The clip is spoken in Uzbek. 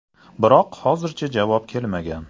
Biroq hozirgacha javob kelmagan.